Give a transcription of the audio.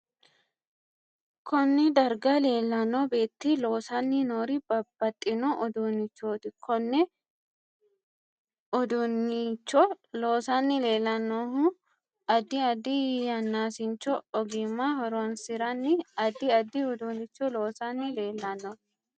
Konee darga leelanno beeti loosani noori babbaxino uduunichooti konne uduunicho loosanni leelanohuno addi addi yannaasicho ogimma horoonsirani addi addi uduunicho loosani leelanno